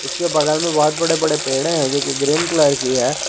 इसके बगल में बहुत बड़े बड़े पेड़ हैं जोकि ग्रीन कलर की है।